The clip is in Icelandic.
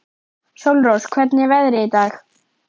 Sólrós, hvernig er veðrið í dag?